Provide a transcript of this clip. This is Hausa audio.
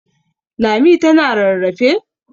Lami tana rarrafe?